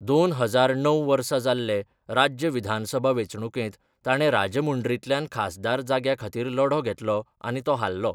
दोन हजार णव वर्सा जाल्ले राज्य विधानसभा वेंचणुकेंत ताणें राजमुंड्रींतल्यान खासदार जाग्या खातीर लढो घेतलो आनी तो हारलो.